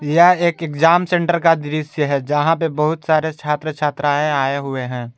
यह एक exam centre का दृश्य है जहां पर बहुत सारे छात्र छात्राएं आए हुए हैं।